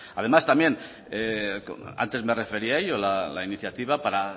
además también antes me refería a ello la iniciativa para